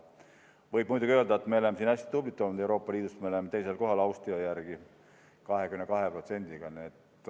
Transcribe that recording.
Võib muidugi öelda, et me oleme siin hästi tublid olnud, Euroopa Liidus oleme me Austria järel teisel kohal 22%-ga.